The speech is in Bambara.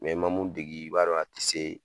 i ma mun degi i b'a a ti se